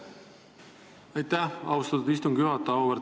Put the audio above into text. Aitäh, austatud istungi juhataja!